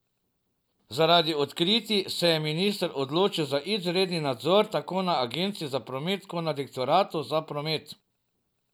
Zaradi odkritij se je minister odločil za izredni nadzor tako na agenciji za promet kot na direktoratu za promet.